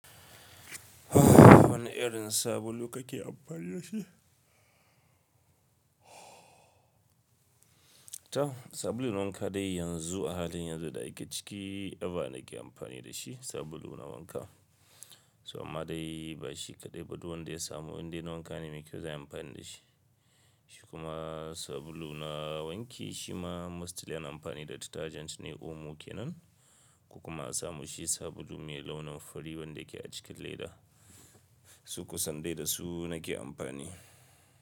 Wane irin sabulu kake amfani da shi? To, sabulo na wanka dai yanzu a halin yanzu da ake ciki, eba nake amfani da shi sabulu na wanka. To amma dai bashi kaɗai ba, duk wanda ya samu indai na wanka ne mai kyau zan iya amfani da shi. Shi kuma sabulu na wanki shima mostly ina amfani da detergent ne Omo ke nan, ko kuma asa mushi sabulu mai launin fari wanda yake a cikin leda. To kusan dai da su nake amfani.